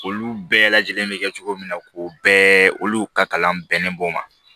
Olu bɛɛ lajɛlen bɛ kɛ cogo min na ko bɛɛ olu ka kalan bɛnnen b'o ma